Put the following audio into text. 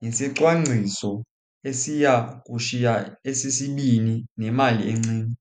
ngesicwangciso esiya kushiya esi sibini nemali encinci.